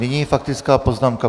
Nyní faktická poznámka.